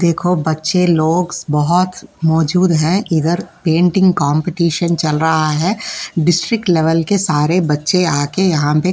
देखो बच्चे लोग बहुत मौजूद है इधर पेंटिंग कम्पटीशन चल रहा है डिस्ट्रिक्ट लेवल के सारे बच्चे यहाँ पे आके --